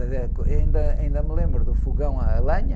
Por exemplo, ainda, ainda me lembro do fogão à lenha.